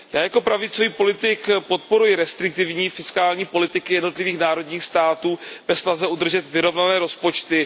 Já jako pravicový politik podporuji restriktivní fiskální politiky jednotlivých národních států ve snaze udržet vyrovnané rozpočty.